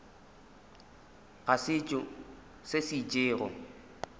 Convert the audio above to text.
ga setšo se se itšego